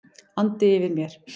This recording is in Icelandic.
andi yfir mér.